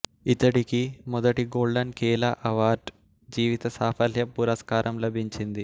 ఇతడికి మొదటి golden Kela award జీవిత సాఫల్య పురస్కారం లభించింది